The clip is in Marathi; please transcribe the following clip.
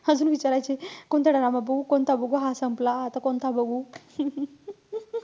अजून विचारायचे कोणता drama बघू? कोणता बघू? हा संपला, आता कोणता बघू?